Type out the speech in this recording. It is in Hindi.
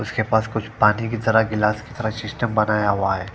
उसके पास कुछ पानी की तरह गिलास की तरह सिस्टम बनाया हुआ है।